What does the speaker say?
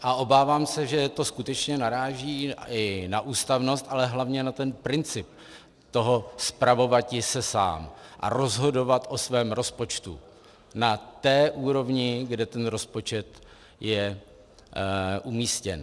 A obávám se, že to skutečně naráží i na ústavnost, ale hlavně na ten princip toho spravovati se sám a rozhodovat o svém rozpočtu na té úrovni, kde ten rozpočet je umístěn.